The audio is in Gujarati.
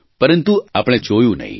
પરંતુ આપણે જોયું નહીં